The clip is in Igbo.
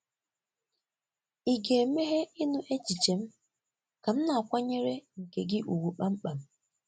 Ị̀ ga-emeghe ịnụ echiche m ka m na-akwanyere nke gị ùgwù kpamkpam?